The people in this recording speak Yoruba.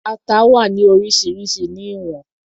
Ata wà ní oríṣiríṣi ní ìwọ̀n